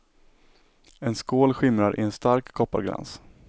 En skål skimrar i en stark kopparglans.